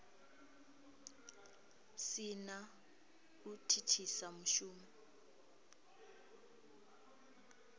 si na u thithisa mushumo